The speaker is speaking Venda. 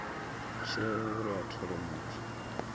tsheo uri a thole muthu